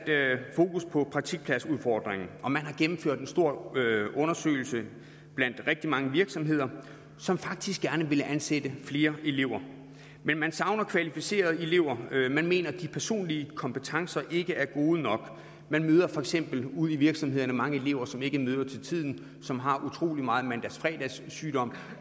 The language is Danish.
fokus på praktikpladsudfordringen og man har gennemført en stor undersøgelse blandt rigtig mange virksomheder som faktisk gerne ville ansætte flere elever men man savner kvalificerede elever man mener at de personlige kompetencer ikke er gode nok man møder for eksempel ude i virksomhederne mange elever som ikke møder til tiden som har utrolig meget mandags fredags sygdom